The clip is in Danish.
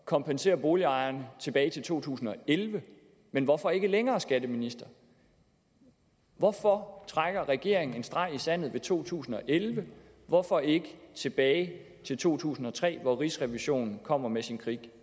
kompensere boligejerne tilbage til to tusind og elleve men hvorfor ikke længere skatteministeren hvorfor trækker regeringen en streg i sandet ved 2011 hvorfor ikke tilbage til to tusind og tre hvor rigsrevisionen kommer med sin